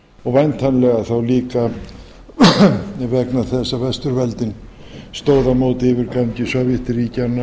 og væntanlega þá líka vegna þess að vesturveldin stóðu á móti yfirgangi